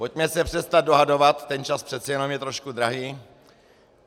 Pojďme se přestat dohadovat, ten čas přece jenom je trošku drahý.